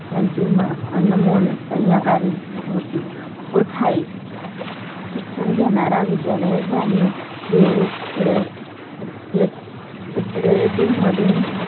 त्यांची अनमोल सहकारी होती होत आहे. शिक्षण घेणारा विद्यालय जाणून घेऊ. रयते मधून